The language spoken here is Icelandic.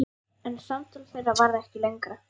En samtal þeirra varð ekki lengra.